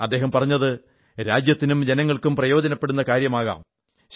അദ്ദേഹം പറഞ്ഞത് രാജ്യത്തിനും ജനങ്ങൾക്കും പ്രയോജനപ്പെടുന്ന കാര്യമാകാം